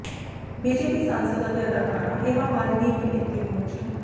BJP ਸਾਂਸਦ ਅਤੇ ਅਦਾਕਾਰਾ ਹੇਮਾ ਮਾਲਿਨੀ ਵੀ ਇੱਥੇ ਪਹੁੰਚੀ